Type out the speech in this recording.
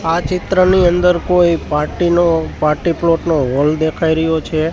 આ ચિત્રની અંદર કોઈ પાર્ટી નો પાર્ટી પ્લોટ નો હોલ દેખાઈ રહ્યો છે.